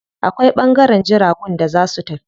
Akwai ɓangaren jiragun da za su tafi.